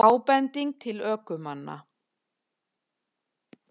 Ábending til ökumanna